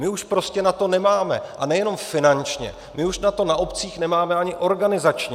My už prostě na to nemáme, a nejenom finančně, my už na to na obcích nemáme ani organizačně.